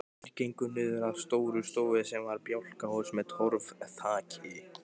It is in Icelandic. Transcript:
Þeir gengu niður að Stórustofu sem var bjálkahús með torfþaki.